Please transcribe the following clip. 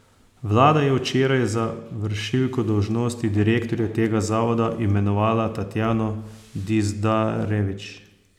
Vlada je včeraj za vršilko dolžnosti direktorja tega zavoda imenovala Tatjano Dizdarević.